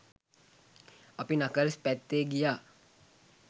අපි නකල්ස් පැත්තේ ගියා